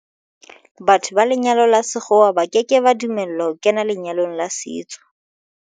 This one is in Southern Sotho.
Batho ba lenyalo la sekgowa ba ke ke ba dumellwa ho kena lenyalong la setso.